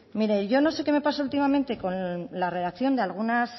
mire yo no sé qué me pasa últimamente con la redacción de algunas